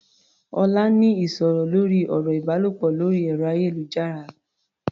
Ọlá ń ní ìsọ̀rọ̀ lórí ọ̀rọ̀ ìbálòpọ̀ lórí ẹ̀rọ-ayélujára.